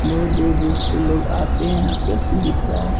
बहुत दूर-दूर से लोग आते हैं यहाँ पे दिख रहा है ।